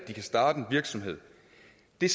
det